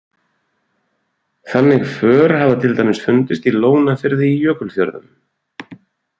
Þannig för hafa til dæmis fundist í Lónafirði í Jökulfjörðum.